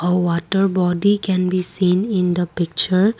a water bottle can be seen in the picture.